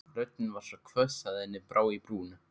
Röddin var svo hvöss að henni brá í brún.